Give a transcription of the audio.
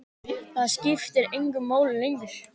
Það skiptir engu máli lengur.